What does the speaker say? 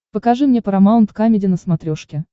покажи мне парамаунт камеди на смотрешке